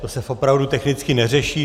To se opravdu technicky neřeší.